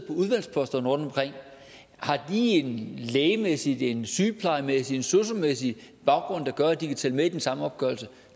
udvalgsposterne rundtomkring har de en lægemæssig en sygeplejemæssig eller en sosu mæssig baggrund der gør at de kan tælle med i den samme opgørelse